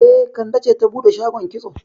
E, Kande ce ta bude shagon kitso